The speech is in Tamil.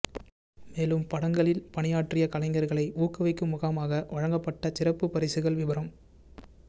மேலும் படங்களில் பணியாற்றிய கலைஞர்களை ஊக்குவிக்கும் முகமாக வழங்கப்பட்ட சிறப்புப் பரிசுகள் விபரம்